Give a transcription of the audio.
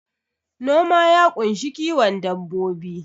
Noma ya ƙunshi kiwon dabbobi